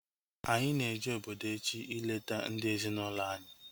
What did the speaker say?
Anyị na-eje obodo echi ileta ndị ezi na ụlọ anyị